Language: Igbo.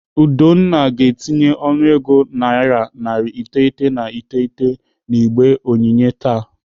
Udonna ga-etinye ọnụego naira narị iteghete na iteghete n'igbe onyinye taa.